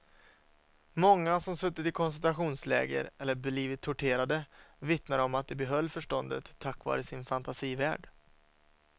Många som suttit i koncentrationsläger eller blivit torterade vittnar om att de behöll förståndet tack vare sin fantasivärld.